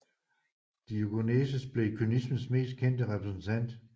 Diogenes blev kynismens mest kendte repræsentant